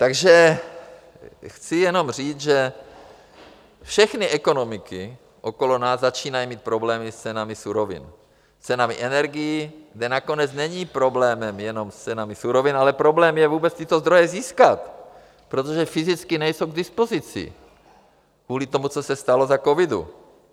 Takže chci jenom říct, že všechny ekonomiky okolo nás začínají mít problémy s cenami surovin, s cenami energií, kde nakonec není problémem jenom s cenami surovin, ale problém je vůbec tyto zdroje získat, protože fyzicky nejsou k dispozici kvůli tomu, co se stalo za covidu.